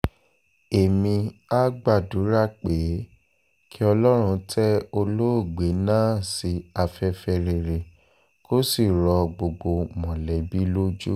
èmia gbàdúrà pé kí ọlọ́run tẹ olóògbé náà sí afẹ́fẹ́ rere kó sì rọ gbogbo mọ̀lẹ́bí lójú